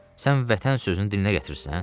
Sən Vətən sözünü dilinə gətirirsən?